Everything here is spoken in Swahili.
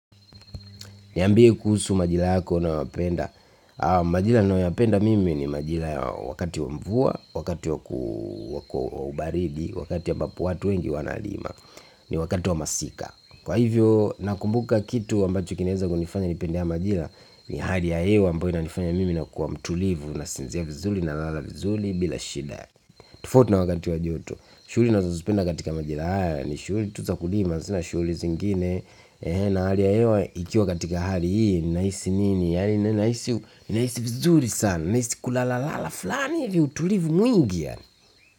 Niambie kuhusu majira yako unaowapenda majira ninayoyapenda mimi ni majira wakati wa mvua, wakati wa baridi, wakati wa ambapo watu wengi wanalima ni wakati wa masika kwa hivyo nakumbuka kitu ambacho kinaeza kunifanya nipende haya majira ni hali ya hewa ambayo inanifanya mimi nakuwa mtulivu na sinzia vizuri nalala vizuri bila shida tofauti na wakati wa joto shughuli nazozipenda katika majira haya ni shughuli tu za kulima, sina shughuli zingine na hali ya hewa ikiwa katika hali hii ninahisi nini ninahisi vizuri sana ninahisi kulalala fulani ili utulivu mwingi yani.